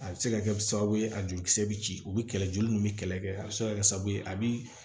A bɛ se ka kɛ sababu ye a jolikisɛ bɛ ci u bɛ kɛlɛ joli min bɛ kɛlɛ kɛ a bɛ se ka kɛ sababu ye a bɛ